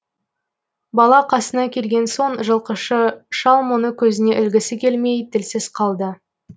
бала қасына келген соң жылқышы шал мұны көзіне ілгісі келмей тілсіз қалды